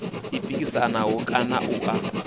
u pikisana kana a u